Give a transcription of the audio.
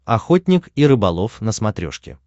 охотник и рыболов на смотрешке